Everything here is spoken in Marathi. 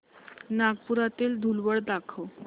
नागपुरातील धूलवड दाखव